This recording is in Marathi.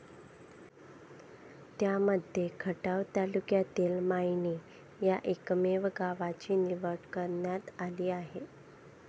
त्यांमध्ये खटाव तालुक्यातील मायणी या एकमेव गावाची निवड करण्यात आली आहे.